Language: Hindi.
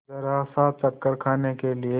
जरासा चक्कर खाने के लिए